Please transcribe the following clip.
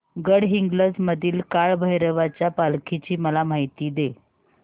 गडहिंग्लज मधील काळभैरवाच्या पालखीची मला माहिती दे